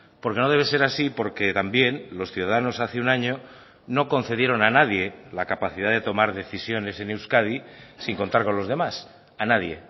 porque no debe ser así porque también los ciudadanos hace un año no concedieron a nadie la capacidad de tomar decisiones en euskadi sin contar con los demás a nadie